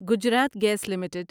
Gujarat gas limited